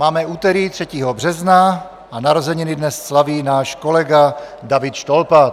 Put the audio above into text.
Máme úterý 3. března a narozeniny dnes slaví náš kolega David Štolpa.